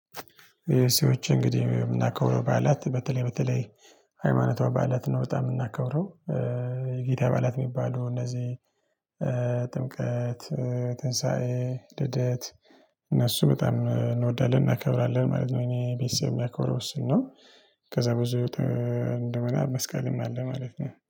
የሰዎች እንግዲህ የምናከብረው ባዐላት በተለይ በተለይ ሃይማኖቷዊ ባዐላት ነው በጣም የምናከብረው የጌታ ባዓላት የሚባሉ እነዚህ ጥምቀት ትንሳኤ ልደት እነሱ በጣም እንወዳለን እናከብራለን ማለት ነው። እኔ ቤተሰብ ጋር የሚያከብረው እሱን ነው። ከዛ ብዙ እንደ መስቀልም አለ ማለት ነው